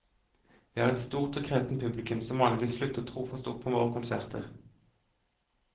Vi har et stort og kresent publikum som vanligvis slutter trofast opp om våre konserter.